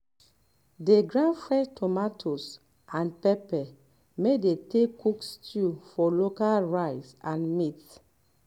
dey grind fresh tomatoes and pepper may dey take cook stew for local rice and meat